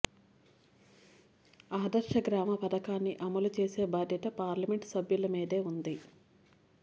ఆదర్శ గ్రామ పథకాన్ని అమలు చేసే బాధ్యత పార్లమెంటు సభ్యులమీదే ఉంది